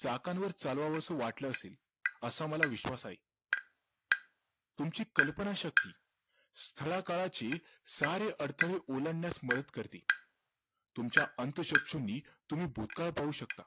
चाकांवर चालवावस वाटलं असेल असा मला विश्वास आहे तुमची कल्पनाशक्ती स्थळाकाळाचे सारे अडथळे ओलांडण्यास मदत करते तुमच्या अंतःचक्षूनि तुम्ही भूतकाळ पाहू शकता